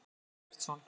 Guðmundur Eggertsson.